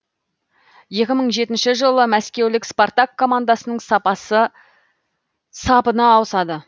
екі мың жетінші жылы мәскеулік спартак командасының сапына ауысады